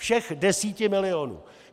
Všech deseti milionů.